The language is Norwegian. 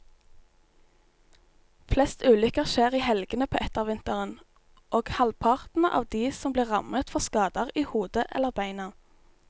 Flest ulykker skjer i helgene på ettervinteren, og halvparten av de som blir rammet får skader i hodet eller beina.